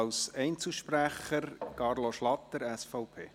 Als Einzelsprecher Carlo Schlatter, SVP.